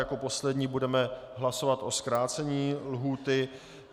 Jako poslední budeme hlasovat o zkrácení lhůty.